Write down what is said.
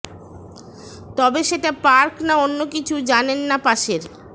তবে সেটা পার্ক না অন্য কিছু জানেন না পাশের